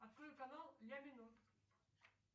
открой канал ля минор